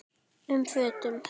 um fötum.